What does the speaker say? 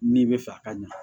N'i bɛ fɛ a ka ɲa